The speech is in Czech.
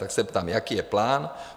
Tak se ptám, jaký je plán?